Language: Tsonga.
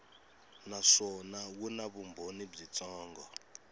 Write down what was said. naswona wu na vumbhoni byitsongo